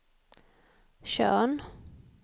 Tjörn